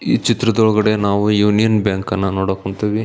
ಈ ಚಿತ್ರದ ಒಳಗಡೆ ನಾವು ಯೂನಿಯನ್ ಬ್ಯಾಂಕ್ ಅನ್ನ ನೋಡಕ್ಹೊಂಥಿವಿ --